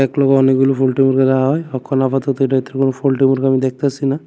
একলগে অনেকগুলো হয় অখন আপাতত এটাতে কোনও আমি দেখতাসি না।